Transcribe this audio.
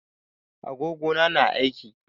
Agogo na na aiki.